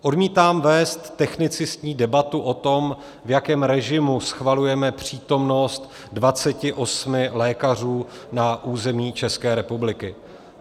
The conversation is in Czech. Odmítám vést technicistní debatu o tom, v jakém režimu schvalujeme přítomnost 28 lékařů na území České republiky.